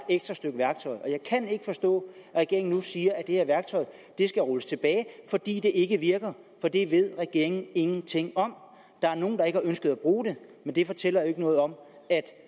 kan ikke forstå at regeringen nu siger at det her skal rulles tilbage fordi det ikke virker for det ved regeringen ingenting om der er nogle der ikke har ønsket at bruge det men det fortæller jo ikke noget om at